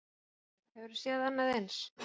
Höskuldur: Hefurðu séð annað eins?